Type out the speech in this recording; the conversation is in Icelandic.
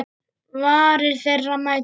Varir þeirra mætast.